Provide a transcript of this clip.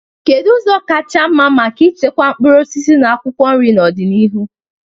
Kedu ụzọ kachasị mma maka ichekwa mkpụrụ osisi na akwụkwọ nri n'ọdịnihu?